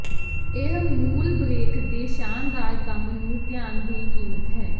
ਇਹ ਮੂਲ ਬ੍ਰੇਕ ਦੇ ਸ਼ਾਨਦਾਰ ਕੰਮ ਨੂੰ ਧਿਆਨ ਦੀ ਕੀਮਤ ਹੈ